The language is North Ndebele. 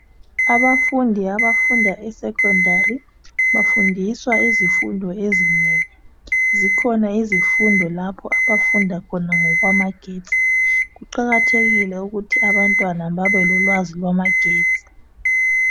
Abafundi abafunda secondary bafundiswa izifundo ezinengi zikhona izifundo lapho abafunda khona ngokwamagetsi kuqakathekile ukuthi abantwana babe lolwazi lwamagetsi.